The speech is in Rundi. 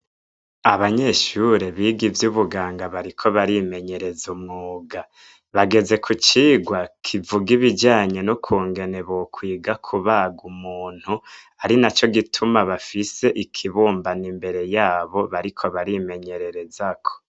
Abanyeshure biga ivy'ubuganga bariko barimenyereza umwuga. Bageze ku cigwa kivuga ibijanye n'ukungene bokwiga kubaga umuntu, ari naco gituma bafise ikibumbano imbere yabo bariko barimenyererezako.